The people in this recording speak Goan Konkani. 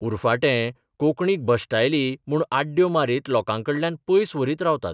उरफाटें कोंकणीक भश्टायली म्हूण आड्ड्यो मारीत लोकांकडल्यान पयस व्हरीत रावतात.